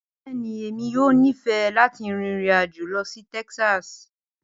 Bẹẹni, Emi yoo nifẹ lati rin irin-ajo lọ si Texas